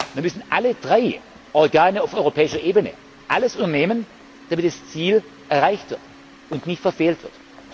Dann müssen alle drei Organe auf europäischer Ebene alles unternehmen, damit das Ziel erreicht und nicht verfehlt wird.